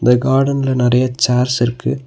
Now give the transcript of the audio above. இந்த கார்டன்ல நறைய சேர்ஸ் இருக்கு.